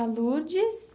A Lurdes.